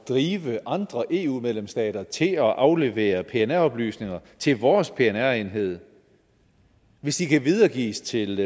drive andre eu medlemsstater til at aflevere pnr oplysninger til vores pnr enhed hvis de kan videregives til